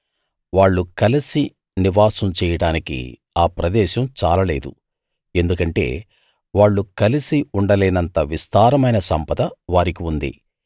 వాళ్ళు కలిసి నివాసం చెయ్యడానికి ఆ ప్రదేశం చాల లేదు ఎందుకంటే వాళ్ళు కలిసి ఉండలేనంత విస్తారమైన సంపద వారికి ఉంది